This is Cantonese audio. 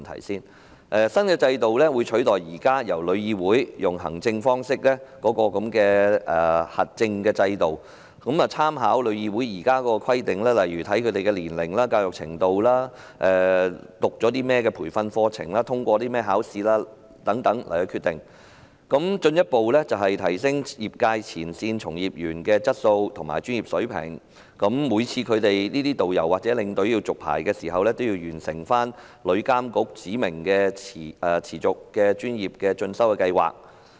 新的制度會取代旅議會現時藉行政方式實施的核證制度，並會在決定是否發牌時參考現時旅議會的規定，例如申請人的年齡、教育程度、曾修讀的培訓課程及通過的考試等，以進一步提升業界前線從業員的質素和專業水平；而導遊或領隊每次續牌時，均須完成旅遊業監管局指明的持續專業進修計劃。